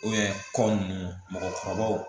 kɔ nunnu mɔgɔkɔrɔbaw